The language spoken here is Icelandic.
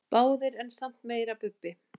Báðir en samt meira Bubbi.